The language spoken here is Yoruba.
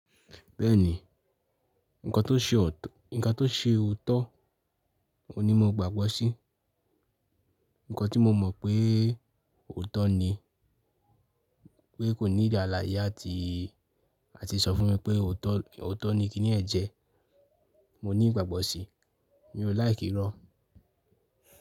Bẹ́ẹ̀ni, ǹkan tó ṣe ó tó, ǹkan tó ṣe òótọ́ ò ní mo gbàgbọ́ sí, ǹkan tí mo mọ̀ pé òótọ́ ni pé kò niidi alaye àti, àti sọ fún mi pé òótọ́, òótọ́ ni kíni yẹn jẹ́, mo ní ìgbàgbọ́ sí, mi ò laiki irọ.